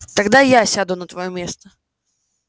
тогда я сяду на твоё место